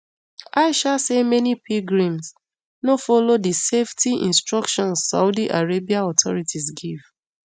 aisha say many pilgrims no follow di safety instructions saudi arabia authorities give